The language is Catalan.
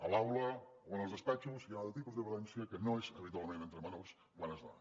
a l’aula o en els despatxos hi ha un altre tipus de violència que no és habitualment entre menors quan es dona